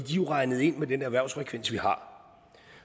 jo regnet ind med den erhvervsfrekvens vi har